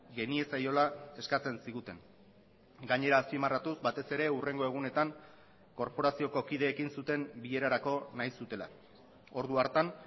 geniezaiola eskatzen ziguten gainera azpimarratuz batez ere hurrengo egunetan korporazioko kideekin zuten bilerarako nahi zutela ordu hartan